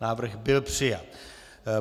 Návrh byl přijat.